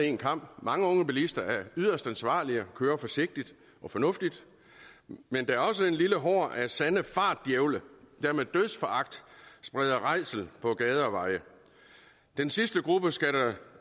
én kam mange unge bilister er yderst ansvarlige og kører forsigtigt og fornuftigt men der er også en lille horde af sande fartdjævle der med dødsforagt spreder rædsel på gader og veje den sidste gruppe skal der